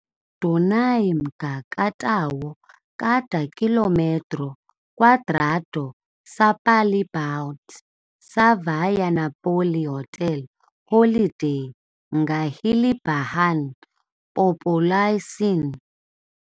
Dunay mga ka tawo kada kilometro kwadrado sa palibot sa Via Napoli Hotel Holiday nga hilabihan populasyon.